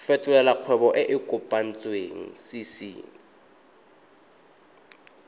fetolela kgwebo e e kopetswengcc